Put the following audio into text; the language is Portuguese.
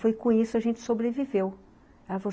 Foi com isso, a gente sobreviveu. Ela